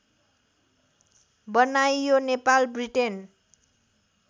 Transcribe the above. बनाइयो नेपाल ब्रिटेन